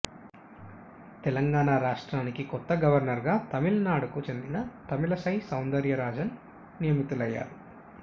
తెలంగాణ రాష్ట్రానికి కొత్త గవర్నర్ గా తమిళనాడుకు చెందిన తమిళ సై సౌందర్ రాజన్ నియమితులయ్యారు